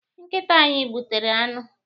Nkịta anyị gbutere anụ.